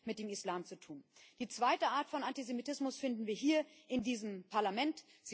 Und es hat mit dem Islam zu tun. Die zweite Art von Antisemitismus finden wir hier in diesem Parlament.